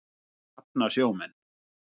Því hafna sjómenn.